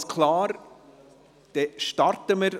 Der Grosse Rat erklärt deshalb hiermit den Klimanotstand.